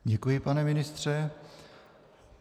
Děkuji, pane ministře.